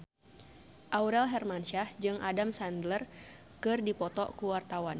Aurel Hermansyah jeung Adam Sandler keur dipoto ku wartawan